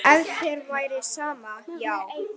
Ef þér væri sama, já.